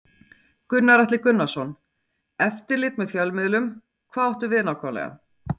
Gunnar Atli Gunnarsson: Eftirlit með fjölmiðlum, hvað áttu við nákvæmlega?